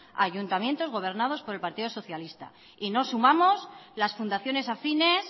a ayuntamientos gobernados por el partido socialista y no sumamos las fundaciones afines